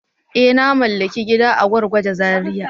Eh! Na mallaki gida a Gwargwaje Zariya.